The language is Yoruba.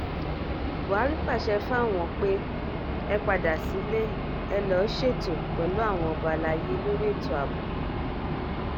buhari pàṣẹ fáwọn e padà sílé ẹ̀ lóò ṣètò pẹ̀lú àwọn ọba alay lori ètò ààbò